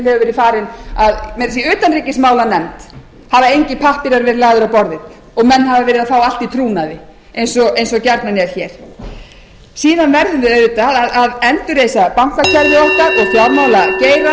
að meira að segja í utanríkismálanefnd hafa engir pappírar verið lagðir á borðið og menn hafa verið að fá allt í trúnaði eins og gjarnan er hér síðan verðum við auðvitað að endurreisa okkar og fjármálageirann